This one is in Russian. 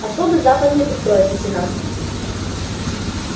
особый западный устроит лейтенант